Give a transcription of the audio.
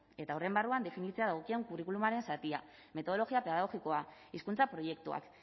eta horren barruan definitzea dagokion curriculumaren zatia metodologia pedagogikoa hizkuntza proiektuak